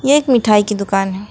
ये एक मिठाई की दुकान है।